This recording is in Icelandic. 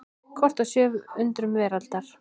Kort af sjö undrum veraldar.